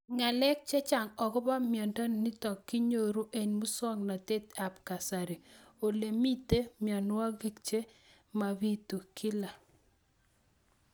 Ng'alek chechang' akopo miondo nitok inyoru eng' muswog'natet ab kasari ole mito mianwek che mapitu kila